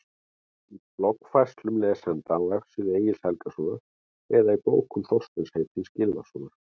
Í bloggfærslum lesenda á vefsíðu Egils Helgasonar eða í bókum Þorsteins heitins Gylfasonar?